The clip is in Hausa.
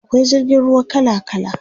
akwai jirgin ruwa kala kala